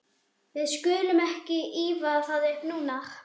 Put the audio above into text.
Við skulum ekki ýfa það upp núna, heldur koma heim.